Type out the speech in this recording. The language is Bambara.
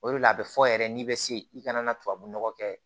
O de la a bɛ fɔ yɛrɛ n'i bɛ se i kana na tubabunɔgɔ kɛ